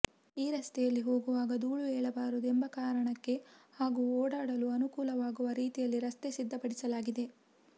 ಈ ರಸ್ತೆಯಲ್ಲಿ ಹೋಗುವಾಗ ಧೂಳು ಏಳಬಾರದು ಎಂಬ ಕಾರಣಕ್ಕೆ ಹಾಗೂ ಓಡಾಡಲು ಅನುಕೂಲವಾಗುವ ರೀತಿಯಲ್ಲಿ ರಸ್ತೆ ಸಿದ್ದಪಡಿಸಲಾಗಿದೆ